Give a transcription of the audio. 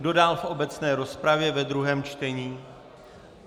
Kdo dál v obecné rozpravě ve druhém čtení?